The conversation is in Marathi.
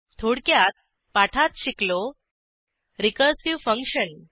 थोडक्यात पाठात शिकलो रिकर्सिव्ह फंक्शन